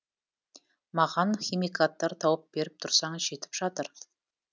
маған химикаттар тауып беріп тұрсаң жетіп жатыр